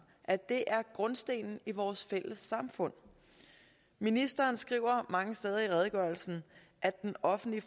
at det er grundstenen i vores fælles samfund ministeren skriver mange steder i redegørelsen at den offentlige